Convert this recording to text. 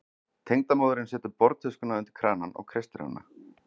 Tengdamóðirin setur borðtuskuna undir kranann og kreistir hana.